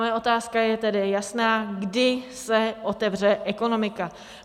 Moje otázka je tedy jasná: Kdy se otevře ekonomika?